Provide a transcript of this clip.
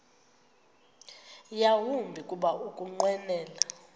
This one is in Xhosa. yawumbi kuba ukunqwenela